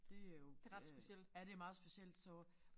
Det jo øh ja det meget specielt så